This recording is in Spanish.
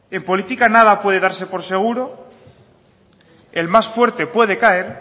en política nada puede darse por seguro el más fuerte puede caer